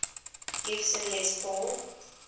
gibson les paul